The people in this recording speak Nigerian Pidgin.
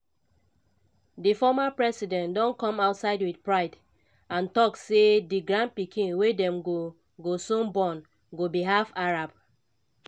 di former president don come outside wit pride and tok say di grandpikin wey dem go go soon born go be half arab.